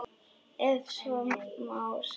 Ef svo má segja.